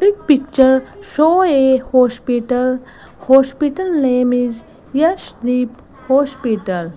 this picture show a hospital hospital name is yashdeep hospital